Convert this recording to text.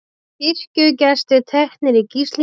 Kirkjugestir teknir í gíslingu